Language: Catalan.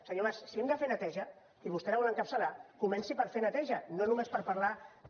senyor mas si hem de fer neteja si vostè la vol encapçalar comenci per fer neteja no només per parlar també